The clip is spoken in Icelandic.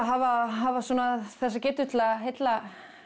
hafa hafa svona þessa getu til að heilla